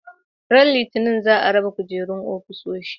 Ran Litinin za a raba kujerun ofisoshi.